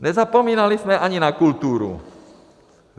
Nezapomínali jsme ani na kulturu.